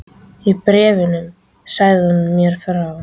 Í bréfunum sagði hún mér frá